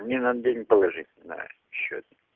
мне надо денег положить на счёт